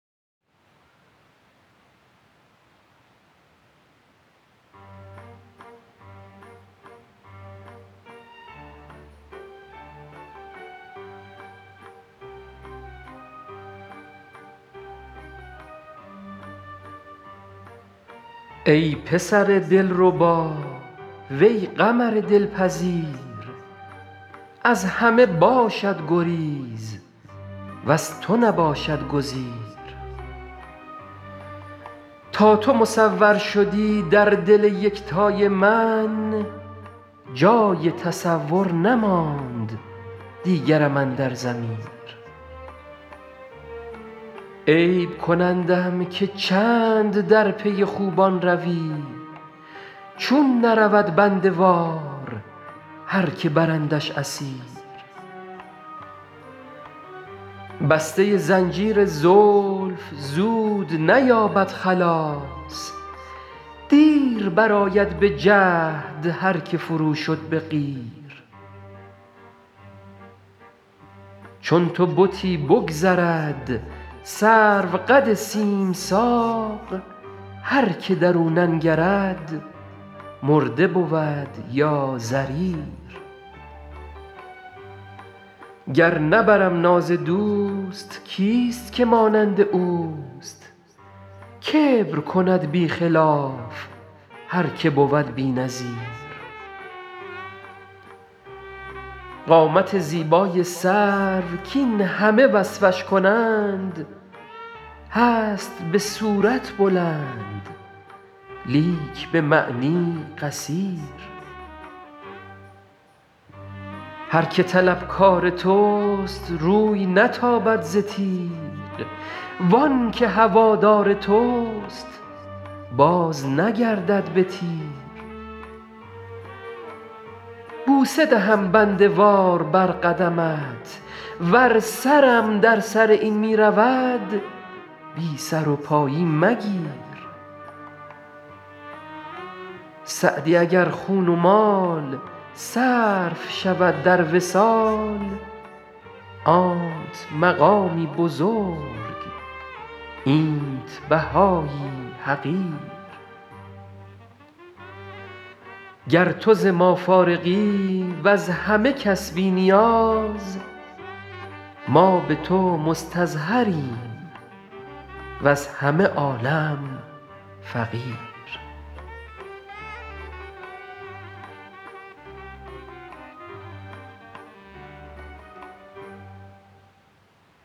ای پسر دلربا وی قمر دلپذیر از همه باشد گریز وز تو نباشد گزیر تا تو مصور شدی در دل یکتای من جای تصور نماند دیگرم اندر ضمیر عیب کنندم که چند در پی خوبان روی چون نرود بنده وار هر که برندش اسیر بسته زنجیر زلف زود نیابد خلاص دیر برآید به جهد هر که فرو شد به قیر چون تو بتی بگذرد سروقد سیم ساق هر که در او ننگرد مرده بود یا ضریر گر نبرم ناز دوست کیست که مانند اوست کبر کند بی خلاف هر که بود بی نظیر قامت زیبای سرو کاین همه وصفش کنند هست به صورت بلند لیک به معنی قصیر هر که طلبکار توست روی نتابد ز تیغ وان که هوادار توست بازنگردد به تیر بوسه دهم بنده وار بر قدمت ور سرم در سر این می رود بی سر و پایی مگیر سعدی اگر خون و مال صرف شود در وصال آنت مقامی بزرگ اینت بهایی حقیر گر تو ز ما فارغی وز همه کس بی نیاز ما به تو مستظهریم وز همه عالم فقیر